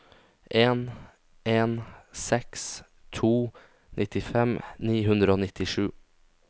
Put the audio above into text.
en en seks to nittifem ni hundre og nittisju